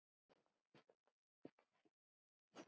Verst ef hvoru tveggja er.